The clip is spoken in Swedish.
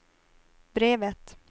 brevet